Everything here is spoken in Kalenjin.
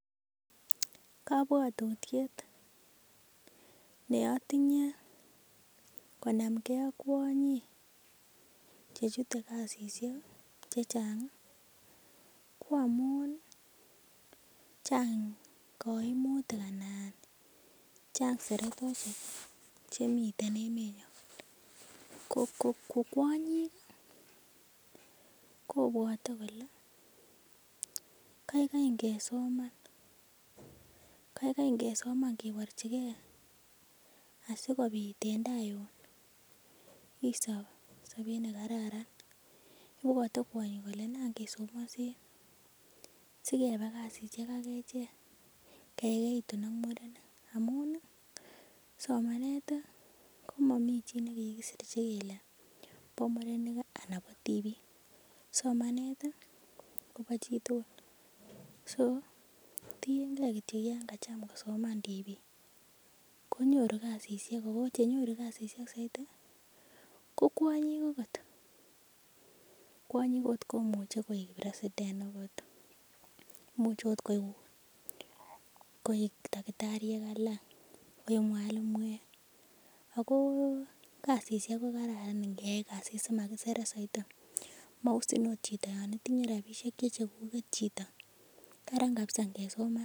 Kobwotutiet neotinye konamgee ak kwonyik chechute kasisiek ih chechang ih ko amun chang koimutik anan chang seretosiek chemiten emenyon ko ko kwonyik ih kobwote kole kaigai ngesoman, kaigai ngesoman kebirchigee asikobit en taa yun isob sobet nekararan ibwote kwonyik kole nan kesomonsen sikeba kasisiek ak echek kekerkeitun ak murenik amun ih somanet komomii chi nekikisirchi kele bo murenik anan bo tibik, somanet ih kobo chitugul so tiengei kityok yan kacham kosoman tibiik konyoru kasisiek ako chenyoru kasisiek soiti ko kwonyik okot kwonyik okot komuche koik president okot imuche ot koik takitariek alak, koik mwalimuek ako kasisiek ko kararan ngeyai kasit simakiseret soiti mousin ot chito yan itinye rapisiek che chekuket chito, karan kabisa ngesoman